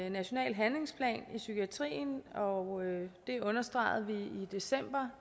en national handlingsplan i psykiatrien og det understregede vi i december